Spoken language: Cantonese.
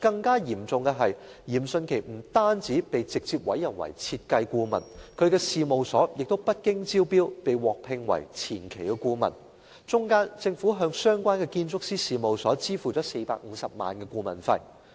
更嚴重的是，嚴迅奇不但被直接委任為設計顧問，其事務所也不經招標便獲聘為前期顧問，中間政府向相關建築師事務所支付了450萬元顧問費。